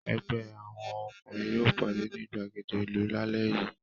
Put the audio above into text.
Ẹgbẹ́ àwọn ọkùnrin yóò pàdé ní ìgbàgede ìlú lálẹ́ yìí.